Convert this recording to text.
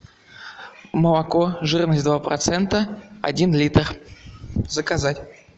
молоко жирность два процента один литр заказать